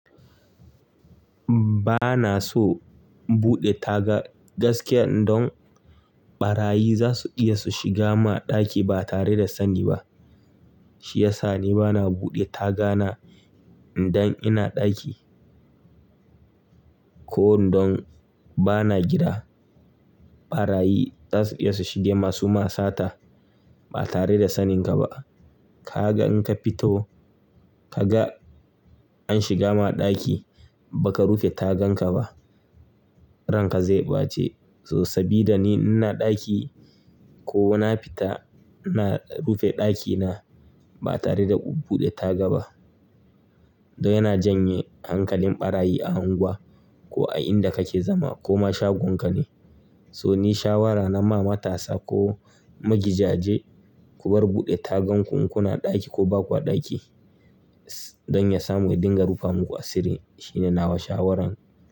Ba na so in buɗe taga gaskiya don ɓarayi za su iya su shiga ma ɗaki ba tare da sani ba. Shi yasa ni ba na buɗe taga na idan ina ɗaki ko idan ba na gida. Ɓarayi za su iya su shiga ma suyima sata ba tare da saninka ba. Ka ga in ka fito, ka ga an shiga ma ɗaki baka rufe tagan ka ba, ranka zai ɓace. So sabida ni ina ɗaki ko na fita, ina rufe ɗakina ba tare da buɗe taga ba. Don yana janye hankalin ɓarayi a unguwa ko a inda kake zama ko ma shagon ka ne. So ni shawara na ma matasa ko magidaje ku bar buɗe tagan ku in kuna ɗaki ko baku a ɗaki don ya samu ya dunga rufa muku asiri. Shi ne nawa shawaran.